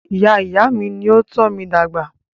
Ìyá ìyá mí ní o tọ́ mí dàgbà.